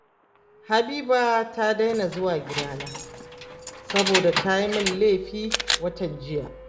Habiba ta daina zuwa gidana, saboda ta yi mini laifi watan jiya